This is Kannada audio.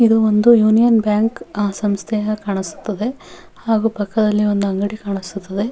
ಇದು ಒಂದು ಯೂನಿಯನ್ ಬ್ಯಾಂಕ್ ಸಂಸ್ಥೆ ಹಾಗೆ ಕಾಣಿಸುತ್ತದೆ ಹಾಗು ಪಕ್ಕದಲ್ಲಿ ಒಂದು ಅಂಗಡಿ ಕಾಣಿಸುತ್ತದೆ.